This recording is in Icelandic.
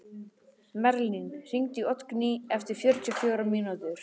Merlin, hringdu í Oddgný eftir fjörutíu og fjórar mínútur.